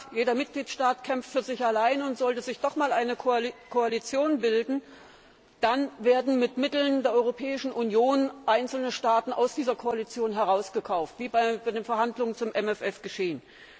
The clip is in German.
Jeder Mitgliedstaat kämpft für sich allein, und sollte sich doch einmal eine Koalition bilden, dann werden mit Mitteln der Europäischen Union einzelne Staaten aus dieser Koalition herausgekauft wie bei den Verhandlungen zum MFR geschehen!